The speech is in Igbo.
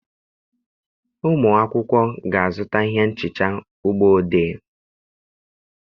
Ụmụ akwụkwọ ga-azụta ihe nhicha ụgbọ odee.